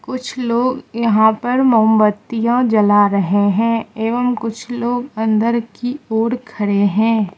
कुछ लोग यहां पर मोमबत्तियां जला रहे हैं एवं कुछ लोग अंदर की ओर खड़े हैं।